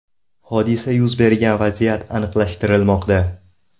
Hodisa yuz bergan vaziyat aniqlashtirilmoqda.